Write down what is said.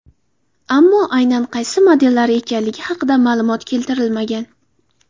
Ammo aynan qaysi modellari ekanligi haqida ma’lumot keltirilmagan.